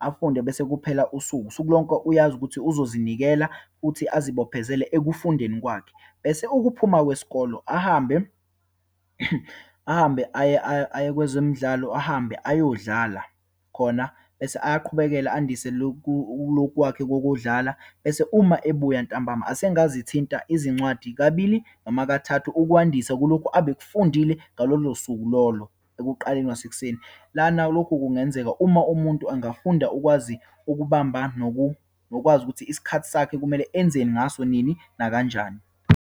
afunde bese kuphela usuku. Usuku lonke uyazi ukuthi uzozinikela, futhi azibophezele ekufundeni kwakhe. Bese ukuphuma kwesikolo ahambe, ahambe aye, aye, aye kwezemidlalo, ahambe ayodlala khona. Bese ayaqhubekela andise loku, lokhu kwakhe kokudlala, bese uma ebuya ntambama asengazithinta izincwadi kabili noma kathathu, ukwandisa kulokhu abekufundile ngalolo suku lolo, ekuqaleni kwasekuseni. Lana lokhu kungenzeka uma umuntu angafunda ukwazi ukubamba nokwazi ukuthi isikhathi sakhe kumele enzeni ngaso, nini, nakanjani.